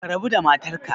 Ka rabu da matarka